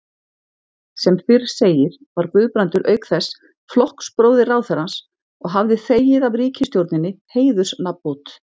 Sem fyrr segir var Guðbrandur auk þess flokksbróðir ráðherrans og hafði þegið af ríkisstjórninni heiðursnafnbót.